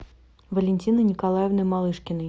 валентины николаевны малышкиной